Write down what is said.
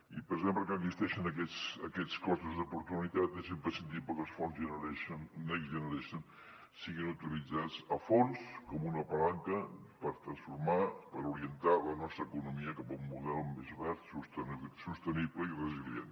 i precisament perquè existeixen aquests costos d’oportunitat és imprescindible que els fons next generation siguin utilitzats a fons com una palanca per transformar per orientar la nostra economia cap a un model més verd sostenible i resilient